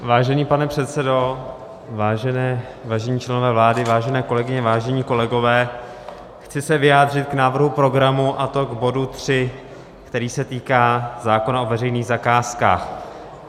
Vážený pane předsedo, vážení členové vlády, vážené kolegyně, vážení kolegové, chci se vyjádřit k návrhu programu, a to k bodu 3, který se týká zákona o veřejných zakázkách.